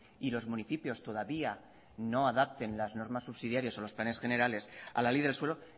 y los municipios todavía no adapten las normas subsidiarias o los planes generales a la ley del suelo